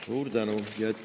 Suur tänu!